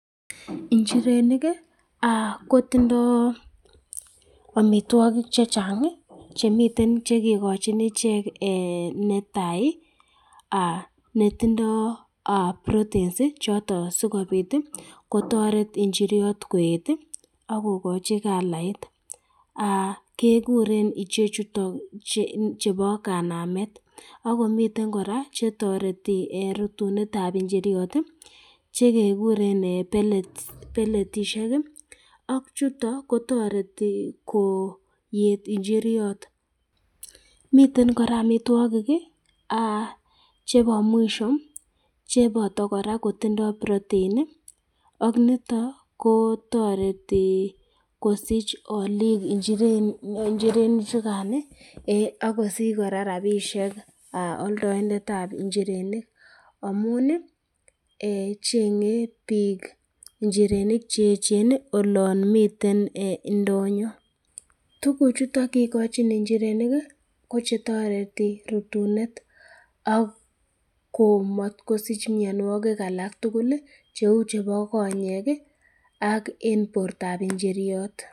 njirenik aa kotindoi omitwokik chechang ii chemiten chekikojin ichek ee netai aa netindoi aah proteins choton sikobit kotoret injiriot koet ak kokoji kalait aa kekuren ichechuiton chebo kanamat ak komiten kora chetoreti en rutunetab injiriot ii chekekuren beletisiek ak chuton kotoreti koet injiriot miten kora amitwiokik aa chebo mwisio cheboto kora kotindoi proteini ak niton kotoret kosich olik injirenichukani ak kosich kora rabisiek oltoindetab injirenik amuni eeh chengei biik injirenik che ejen olonmiten indonyo tukuchuton kikochin injirenik kochetoreti rutunet ak komotkosich mionuwokik alaktugul cheu chebo konyek ak en bortab injiriot